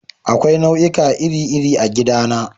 Akwai itatuwa iri-iri a gidana.